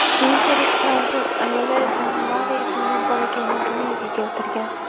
Keyinchalik fransuz ayoli Jan Mari ismli bolakayni dunyoga keltirgan.